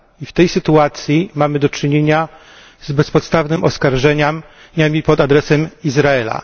I w tej sytuacji mamy do czynienia z bezpodstawnymi oskarżeniami pod adresem Izraela.